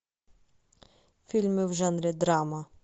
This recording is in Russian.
фильмы в жанре драма